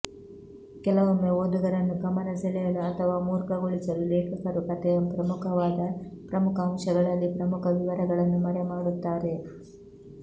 ಕೆಲವೊಮ್ಮೆ ಓದುಗರನ್ನು ಗಮನ ಸೆಳೆಯಲು ಅಥವಾ ಮೂರ್ಖಗೊಳಿಸಲು ಲೇಖಕರು ಕಥೆಯ ಪ್ರಮುಖವಾದ ಪ್ರಮುಖ ಅಂಶಗಳಲ್ಲಿ ಪ್ರಮುಖ ವಿವರಗಳನ್ನು ಮರೆಮಾಡುತ್ತಾರೆ